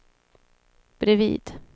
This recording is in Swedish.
bredvid